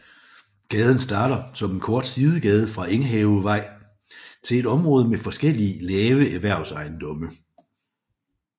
Gaden starter som en kort sidegade fra Enghavevej til et område med forskellige lave erhvervsejendomme